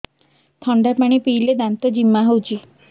ଥଣ୍ଡା ପାଣି ପିଇଲେ ଦାନ୍ତ ଜିମା ହଉଚି